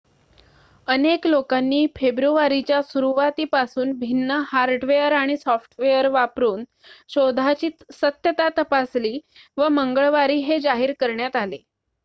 अनेक लोकांनी फेब्रुवारीच्या सुरुवातीपासून भिन्न हार्डवेअर आणि सॉफ्टवेअर वापरून शोधाची सत्यता तपासली व मंगळवारी हे जाहीर करण्यात आले